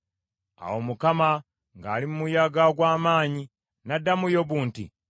Awo Mukama ng’ali mu muyaga ogw’amaanyi n’addamu Yobu nti,